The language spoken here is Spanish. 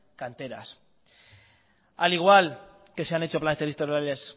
canteras al igual que se han hecho planes territoriales